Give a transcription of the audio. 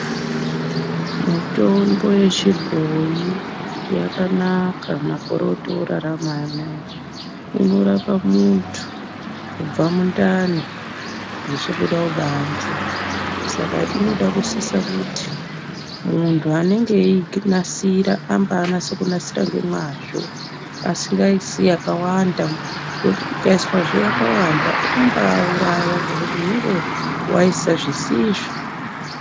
Mutombo yechibhoyi yakanaka makore otorarama anaya inorapa muntu kubva mundani zvichibuda kubanze Saka inoda kusisa kuti muntu anenge eiinasira ambanase kunasira ngemazvo asingaisi yakawanda ngekuti ikaiswazve yakawanda inombauraya ngekuti unenge waisa zvisizvo.